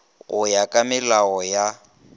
go ya ka melao ya